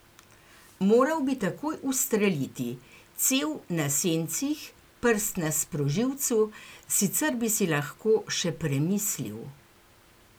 Moral bi takoj ustreliti, cev na sencih, prst na sprožilcu, sicer bi si lahko še premislil.